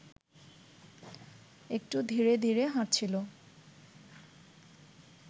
একটু ধীরে ধীরে হাঁটছিল